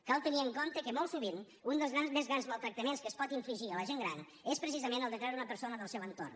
cal tenir en compte que molt sovint un dels més grans maltractaments que es pot infligir a la gent gran és precisament el de treure una persona del seu entorn